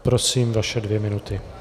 Prosím, vaše dvě minuty.